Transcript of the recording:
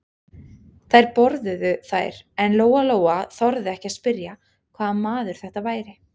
Þær borðuðu þær en Lóa-Lóa þorði ekki að spyrja hvaða maður þetta væri.